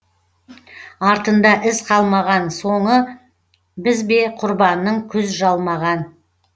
артында із қалмаған соңы біз бе құрбанның күз жалмаған